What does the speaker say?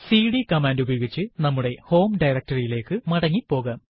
CD command ഉപയോഗിച്ച് നമ്മുടെ home directory യിലേക്ക് മടങ്ങി പോകാം